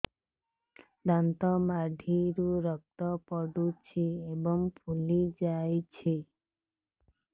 ଦାନ୍ତ ମାଢ଼ିରୁ ରକ୍ତ ପଡୁଛୁ ଏବଂ ଫୁଲି ଯାଇଛି